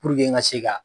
n ka se ka